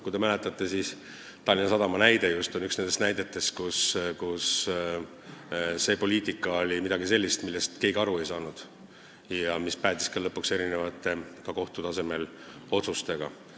Kui te mäletate, siis Tallinna Sadam on üks nendest näidetest, kus see poliitika oli midagi sellist, millest keegi aru ei saanud ja mis päädis lõpuks erinevate kohtuotsustega.